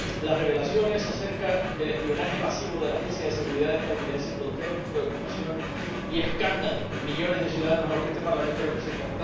Señor Presidente, las revelaciones acerca del espionaje masivo de la Agencia Nacional de Seguridad estadounidense produjeron preocupación y escándalo en millones de ciudadanos a los que este Parlamento representa.